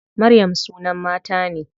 Maryam sunan mata ne.